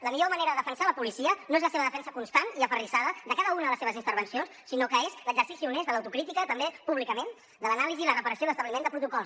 la millor manera de defensar la policia no és la seva defensa constant i aferrissada de cada una de les seves intervencions sinó que és l’exercici honest de l’autocrítica també públicament de l’anàlisi la reparació i l’establiment de protocols